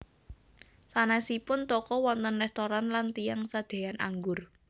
Sanèsipun toko wonten réstoran lan tiyang sadéan anggur